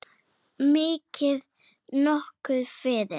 Mikið niðri fyrir.